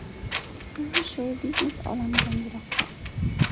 U shou-biznes olamidan yiroqda.